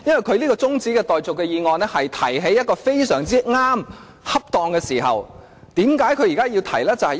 他這項中止待續議案正在一個非常正確，恰當的時候提出。